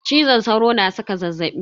Cizon sauro na saka zazzaɓi.